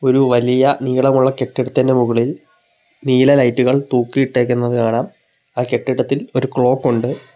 ഒരു വലിയ നീളമുള്ള കെട്ടിടത്തിന്റെ മുകളിൽ നീല ലൈറ്റുകൾ തൂക്കിയിട്ടേക്കുന്നത് കാണാം ആ കെട്ടിടത്തിൽ ഒരു ക്ലോക്കൊണ്ട് .